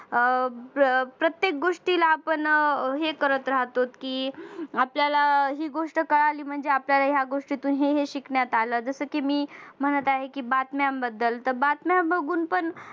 अह प्रत्येक गोष्टीला आपण हे करत राहतो कि आपल्याला हि गॊष्ट कळाली म्हणजे आपल्याला ह्या गोष्टीतून हे हे शिकण्यात आलं जस कि मी म्हणत आहे बातम्यांबद्दल तर बातम्या बघून पण